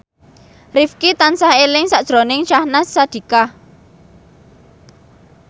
Rifqi tansah eling sakjroning Syahnaz Sadiqah